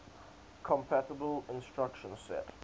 compatible instruction set